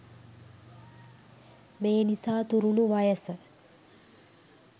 මේ නිසා තුරුණු වයස